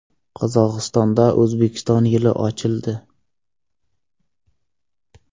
Qozog‘istonda O‘zbekiston yili ochildi .